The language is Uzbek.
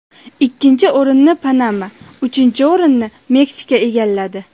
Ikkinchi o‘rinni Panama, uchinchi o‘rinni Meksika egalladi.